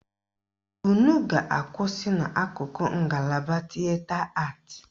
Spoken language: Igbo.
Unu ga-akwụsị n' akụkụ ngalaba tịeta atị.